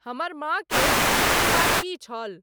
हमर मां के अंतिम बात की छल